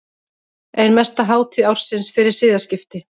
Ein mesta hátíð ársins fyrir siðaskipti.